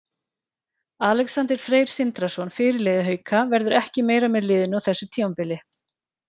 Alexander Freyr Sindrason, fyrirliði Hauka, verður ekki meira með liðinu á þessu tímabili.